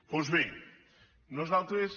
doncs bé nosaltres